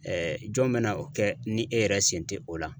jɔn bɛna o kɛ ni e yɛrɛ sen tɛ o la?